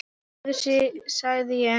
Heyrðu sagði ég.